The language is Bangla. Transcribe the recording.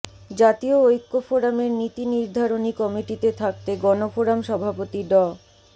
জাতীয় ঐক্য ফোরামের নীতিনির্ধারণী কমিটিতে থাকতে গণফোরাম সভাপতি ড